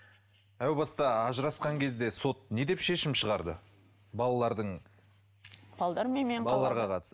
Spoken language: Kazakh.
әубаста ажырасқан кезде сот не деп шешім шығарды балалардың